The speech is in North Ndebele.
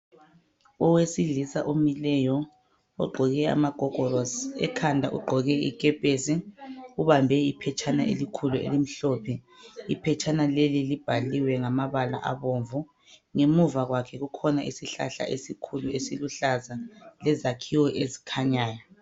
Owesilisa omileyo ogqoke amagogorosi, ekhanda ugqoke ikepesi ubambe iphetshana elikhulu elimhlophe. Iphetshana leli libhaliwe ngamabala abomvu. Ngemuva kwakhe kukhona isihlahla esikhulu esiluhlaza lezakhiwo ezikhanyayo.